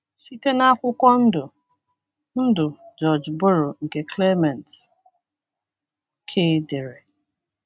Site n’akwụkwọ Ndụ Ndụ George Borrow nke Clement K dere.